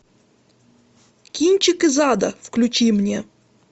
кинчик из ада включи мне